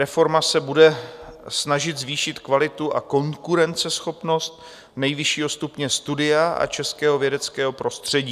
Reforma se bude snažit zvýšit kvalitu a konkurenceschopnost nejvyššího stupně studia a českého vědeckého prostředí.